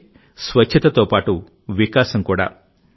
అంటే స్వచ్ఛతతో పాటు వికాసం కూడా